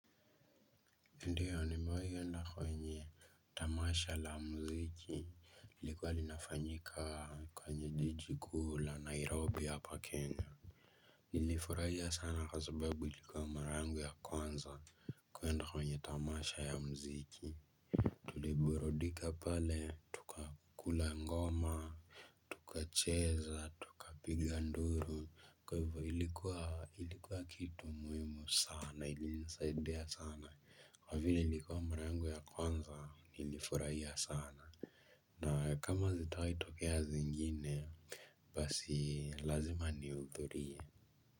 Ndiyo nimewai enda kwenye tamasha la mziki lilikuwa linafanyika kwenye jiji kuu la Nairobi hapa Kenya. Nilifurahia sana kwa sababu ilikuwa mara yangu ya kwanza kuenda kwenye tamasha ya mziki. Tuliburudika pale tukakula ngoma. Tukacheza tukapiga nduru kwa hivyo ilikuwa ilikuwa kitu muhimu sana ilinisaidia sana kwa vile ilikuwa mara yangu ya kwanza nilifurahia sana. Na kama zitawai tokea zingine. Basi lazima nihuthurie.